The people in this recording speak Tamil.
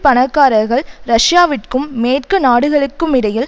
பணக்காரர்கள் ரஷ்யாவிற்கும் மேற்கு நாடுகளுக்குமிடையில்